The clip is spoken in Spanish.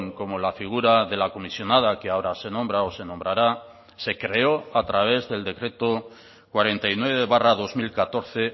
como la figura de la comisionada que ahora se nombra o se nombrará se creó a través del decreto cuarenta y nueve barra dos mil catorce